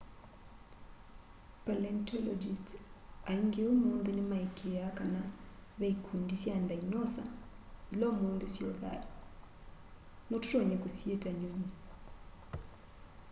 palaentologists aĩngĩ ũmũnthĩ nĩmaĩĩkĩa kana ve ĩkũndĩ sya ndaĩnosa ĩla ũmũnthĩ syĩo thayũ no tũtonye kũsyita nyũnyĩ